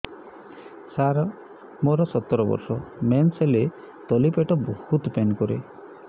ସାର ମୋର ସତର ବର୍ଷ ମେନ୍ସେସ ହେଲେ ତଳି ପେଟ ବହୁତ ପେନ୍ କରେ